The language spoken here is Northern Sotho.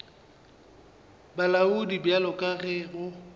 bolaodi bjalo ka ge go